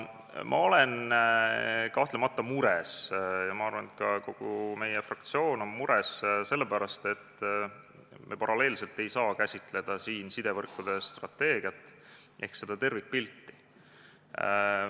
Ma olen kahtlemata mures – ja ma arvan, et kogu meie fraktsioon on mures –, et me paralleelselt ei saa käsitleda siin seda sidevõrkude strateegiat ehk tervikpilti.